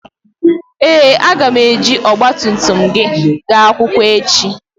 Ee, a ga m eji ọgba tum tum gị gaa akwụkwọ echi